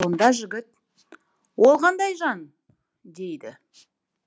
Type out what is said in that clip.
сонда жігіт ол қандай жан дейді